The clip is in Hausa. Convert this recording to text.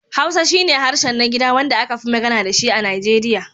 Hausa shi ne harshen na gida wanda aka fi magana da shi a Naijeriya.